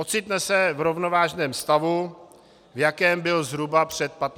Ocitne se v rovnovážném stavu, v jakém byl zhruba před 15 lety.